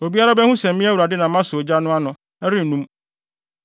Obiara behu sɛ me Awurade na masɔ ogya no ano; ɛrennum.’ ”